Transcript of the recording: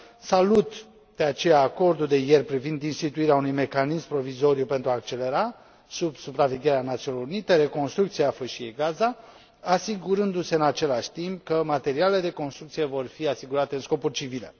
Salut, de aceea, acordul de ieri privind instituirea unui mecanism provizoriu pentru a accelera, sub supravegherea Națiunilor Unite, reconstrucția Fâșiei Gaza, asigurându se, în același timp, că materialele de construcție vor fi folosite în scopuri civile.